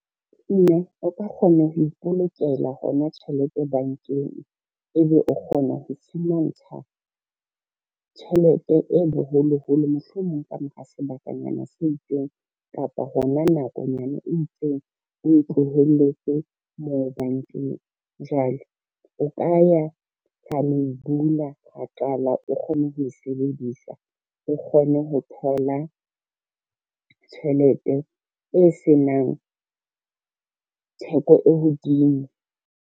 Mme o ka kgona ho ipolokela hona tjhelete bankeng, ebe o kgona ho tjhelete e boholoholo mohlomong ka mora sebakanyana se itseng kapa hona nakonyana e itseng, o tlohelletse moo bankeng. Jwale o ka ya ra lo bula, ra qala o kgone ho e sebedisa o kgone ho thola tjhelete e senang theko e hodimo.